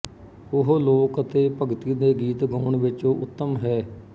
ਉਹ ਲੋਕ ਅਤੇ ਭਗਤੀ ਦੇ ਗੀਤ ਗਾਉਣ ਵਿੱਚ ਉੱਤਮ ਹੈ